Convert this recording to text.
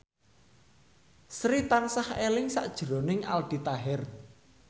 Sri tansah eling sakjroning Aldi Taher